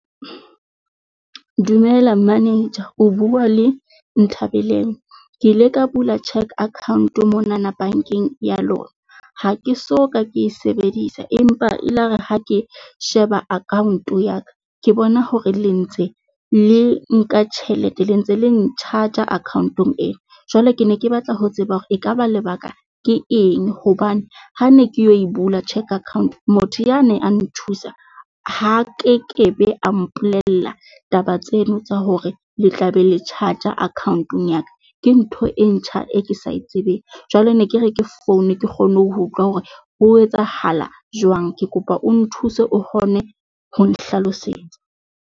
Dumela manager o bua le Nthabeleng, Ke ile ka bula cheque account monana bankeng ya lona. Ha ke so ka ke e sebedisa empa ile ya re ha ke e sheba account ya ka, ke bona hore le ntse le nka tjhelete le ntse le n-charger account-ong e. Jwale ke ne ke batla ho tseba hore e ka ba lebaka ke eng hobane ha ne ke yo e bula cheque account. Motho yane a nthusa ha kekebe a mpolella taba tseno tsa hore le tla be le charge-a account-ong ya ka. Ke ntho e ntjha e ke sa etsebeng jwale ne ke re ke foune, ke kgone ho ho utlwa hore ho etsahala jwang. Ke kopa o nthuse, o kgone ho nhlalosetsa.